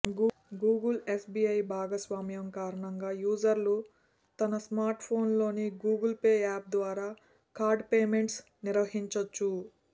Google SBI భాగస్వామ్యం కారణంగా యూజర్లు తన స్మార్ట్ఫోన్లోని గూగుల్ పే యాప్ ద్వారా కార్డ్ పేమెంట్స్ నిర్వహించొచ్చు